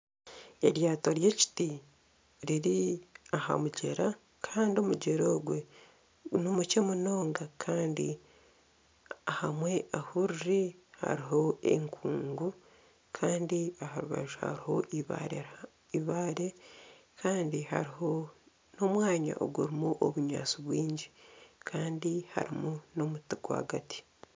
Eryato ry'ekiti riri aha mugyera kandi omugyera ogwe nimukye munonga kandi ahamwe ahu riri hariho enkuugu kandi aha rubaju hariho ibaare kandi n'omwanya ogurimu obunyaatsi bwingi kandi harimu n'omuti rwagati.